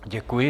Děkuji.